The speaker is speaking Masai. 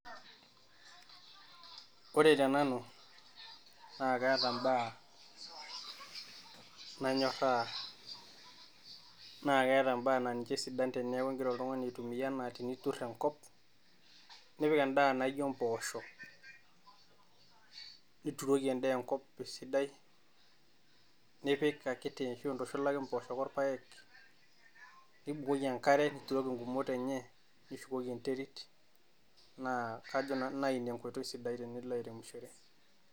Ore tenanu naa kaata ibaa nanyorraa naa keeta ibaa naa ninche isidan tinigira oltung'ani oturr Enkop nipik endaa naijio empoosho nituroki endaa enkop esidai nipik akiti ashu intushulaki impoosho orpaek nibukoki enk'are ninuk igumot enye naa naa kajo Nanu naa Ina enkoitoi sidai tenilo airemishore.